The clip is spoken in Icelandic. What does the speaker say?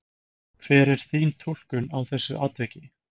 Hver er þín túlkun á þessu atviki?